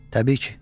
Təbii ki.